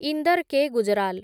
Inder K. Gujral